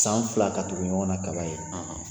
San fila ka tugu ɲɔgɔnna kaba ye